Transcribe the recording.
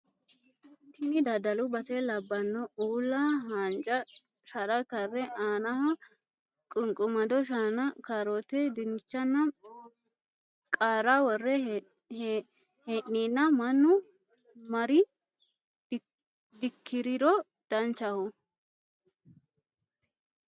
Tini daddalu base labbanoe uulla haanja shara karre aanaho qunqumado shaana, kaarote, dinnichanna qaara worre hee'ninni mannu mari dikkiriro danchaho